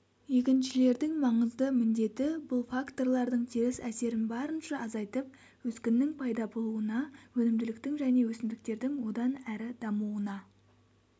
егіншілердің маңызды міндеті бұл факторлардың теріс әсерін барынша азайтып өскіннің пайда болуына өнімділіктің және өсімдіктердің одан әрі дамуына